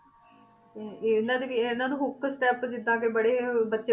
ਤੇ ਇਹਨਾਂ ਦੀ ਵੀ ਇਹਨਾਂ ਨੂੰ hook step ਜਿੱਦਾਂ ਕਿ ਬੜੇ ਅਹ ਬੱਚੇ